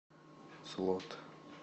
слот